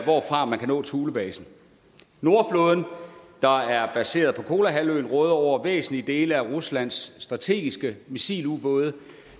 hvorfra man kan nå thulebasen nordflåden der er placeret på kolahalvøen råder over væsentlige dele af ruslands strategiske missilubåde